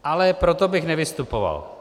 Ale proto bych nevystupoval.